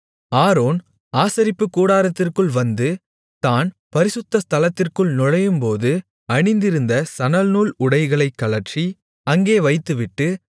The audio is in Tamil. ஆரோன் ஆசரிப்புக்கூடாரத்திற்குள் வந்து தான் பரிசுத்த ஸ்தலத்திற்குள் நுழையும்போது அணிந்திருந்த சணல்நூல் உடைகளைக் கழற்றி அங்கே வைத்துவிட்டு